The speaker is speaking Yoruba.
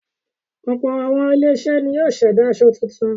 Ọ̀pọ̀ àwọn ilé-iṣẹ́ ni yóò ṣẹ̀dá aṣọ tuntun.